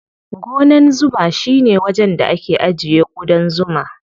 Gonan zuma shine wajen da ake ajiye ƙudan zuma.